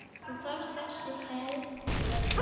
Þú þarft þess heldur ekki.